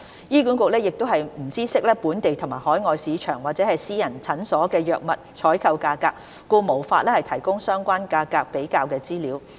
醫管局亦不知悉本地和海外市場或私人診所的藥物採購價格，故無法提供相關價格比較資料。